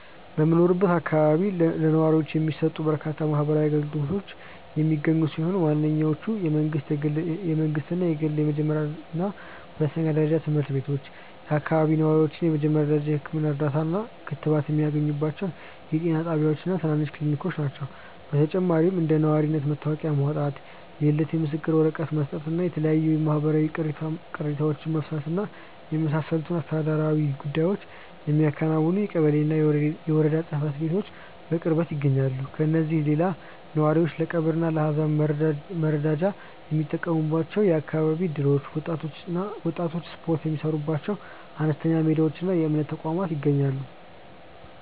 በሚኖርበት አካባቢ ለነዋሪዎች የሚሰጡ በርካታ ማህበራዊ አገልግሎቶች የሚገኙ ሲሆን፣ ዋነኞቹ የመንግሥትና የግል የመጀመሪያና ሁለተኛ ደረጃ ትምህርት ቤቶች፣ የአካባቢው ነዋሪዎች የመጀመሪያ ደረጃ የሕክምና እርዳታና ክትባት የሚያገኙባቸው የጤና ጣቢያዎችና ትናንሽ ክሊኒኮች ናቸው። በተጨማሪም እንደ የነዋሪነት መታወቂያ ማውጣት፣ የልደት ምስክር ወረቀት መስጠትና የተለያዩ የማህበረሰብ ቅሬታዎችን መፍታትን የመሳሰሉ አስተዳደራዊ ጉዳዮችን የሚያከናውኑ የቀበሌና የወረዳ ጽሕፈት ቤቶች በቅርበት ይገኛሉ። ከእነዚህም ሌላ ነዋሪዎች ለቀብርና ለሐዘን መረዳጃ የሚጠቀሙባቸው የአካባቢ እደሮች፣ ወጣቶች ስፖርት የሚሠሩባቸው አነስተኛ ሜዳዎችና የእምነት ተቋማት ይገኛሉ።